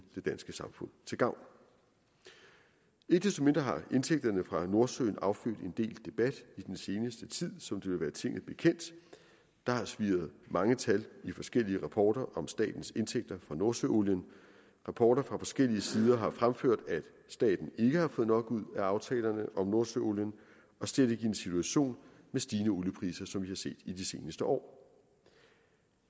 danske samfund til gavn ikke desto mindre har indtægterne fra nordsøen affødt en del debat i den seneste tid som det vil være tinget bekendt der har svirret mange tal i forskellige rapporter om statens indtægter fra nordsøolien rapporter fra forskellige sider har fremført at staten ikke har fået nok ud af aftalerne om nordsøolien og slet ikke i en situation med stigende oliepriser som vi har set de seneste år